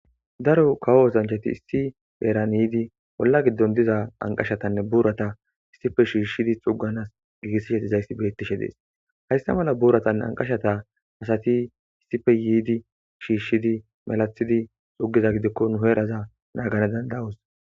Daro kawo osanchchati issi heeran yidi wora giddon dizza ankashshatanne burrata issippe shshishidi xugganas gigissidaysa betteshe de'es haysa malla burratanne ankashshata asati issippe yidi shshishidi walakiddi xuggaza giddikko nu heraza nagganas dand'ados.